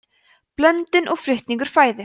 blöndun og flutningur fæðu